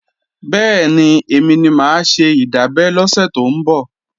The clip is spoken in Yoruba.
Bẹ́ẹ̀ni, èmi ni mà á ṣe ìdábẹ́ lọ́sẹ̀ tó ń bọ̀